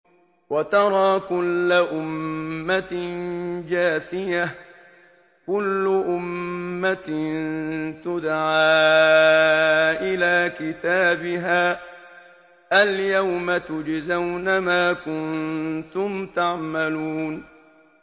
وَتَرَىٰ كُلَّ أُمَّةٍ جَاثِيَةً ۚ كُلُّ أُمَّةٍ تُدْعَىٰ إِلَىٰ كِتَابِهَا الْيَوْمَ تُجْزَوْنَ مَا كُنتُمْ تَعْمَلُونَ